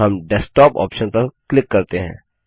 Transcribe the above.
हम desktop option पर click करते हैं